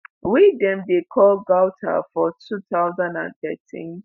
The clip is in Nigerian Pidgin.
wey dem dey call ghouta for 2013.